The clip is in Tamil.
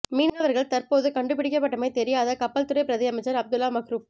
மீனவர்கள் தற்போது கண்டுபிடிக்கப்பட்டமை தெரியாத கப்பல் துறை பிரதியமைச்சர் அப்துல்லா மஹ்ரூப்